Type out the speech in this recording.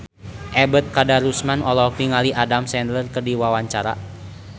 Ebet Kadarusman olohok ningali Adam Sandler keur diwawancara